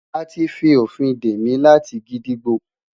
A ti fi ofin de mi lati gídígbò